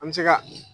An bɛ se ka